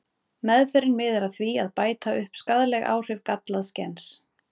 Meðferðin miðar að því að bæta upp skaðleg áhrif gallaðs gens.